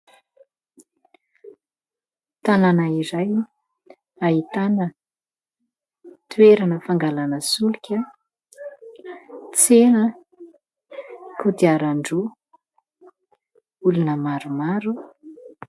Tanàna iray ahitana toerana fangalana solika, tsena kodiarandroa olona maromaro.